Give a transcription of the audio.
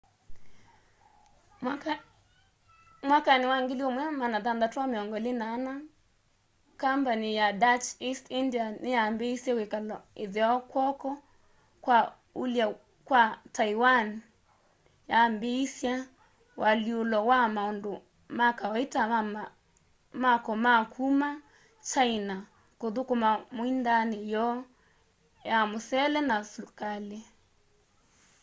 mwakani wa 1624 kambani ya dutch east india niyambiisye wikalo itheo kwoko kwa ulwe kwa taiwan yambiisya ualyulo wa maundu ma kawaita ma mako ma kuma china kuthukuma muindaani yoo ya musele na sukali